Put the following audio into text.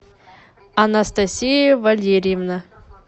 анастасия валерьевна